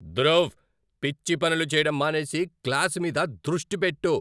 ధృవ్, పిచ్చి పనులు చేయడం మానేసి, క్లాసు మీద దృష్టి పెట్టు!